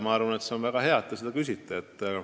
Ja on väga hea, et te seda küsite.